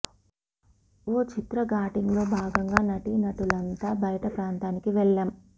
ఓ చిత్ర షూటింగ్ లో భాగంగా నటీనటులంతా బయట ప్రాంతానికి వెళ్లాం